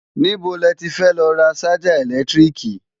Níbo le ti fẹ́ lọ ra ṣájà ẹ̀lẹ́tíríkì?